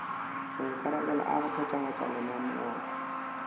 maikarabelo a go phethagatša lenaneo